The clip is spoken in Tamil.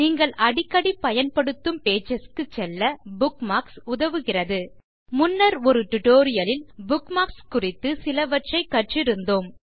நீங்கள் அடிக்கடி பயன்படுத்தும் பேஜஸ் க்குச் செல்ல புக்மார்க்ஸ் உதவுகிறது முன்னர் ஒரு டியூட்டோரியல் லில் புக்மார்க்ஸ் குறித்து சிலவற்றை கற்றிருந்தோம்